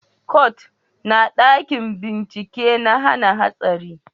kwat na dakin bincike na hana hatsari